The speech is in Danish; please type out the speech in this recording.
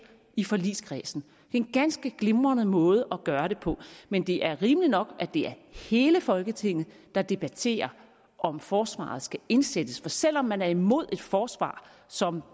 i forligskredsen det en ganske glimrende måde at gøre det på men det er rimeligt nok at det er hele folketinget der debatterer om forsvaret skal indsættes for selv om man er imod et forsvar som